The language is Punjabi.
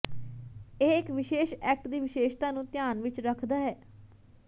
ਇਹ ਇੱਕ ਵਿਸ਼ੇਸ਼ ਐਕਟ ਦੀ ਵਿਸ਼ੇਸ਼ਤਾ ਨੂੰ ਧਿਆਨ ਵਿੱਚ ਰੱਖਦਾ ਹੈ